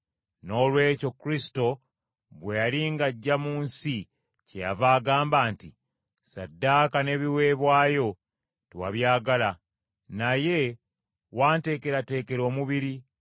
Noolwekyo Kristo bwe yali ng’ajja mu nsi kyeyava agamba nti, “Ssaddaaka n’ebiweebwayo tewabyagala. Naye wanteekerateekera omubiri.